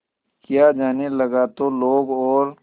किया जाने लगा तो लोग और